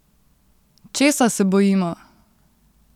Česa se bojimo?